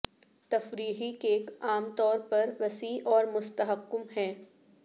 تفریحی کیک عام طور پر وسیع اور مستحکم ہیں